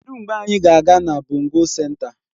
Kedụ mgbe anyị ga-aga na bongo senta?